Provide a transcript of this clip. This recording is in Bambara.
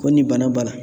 Ko nin bana b'a la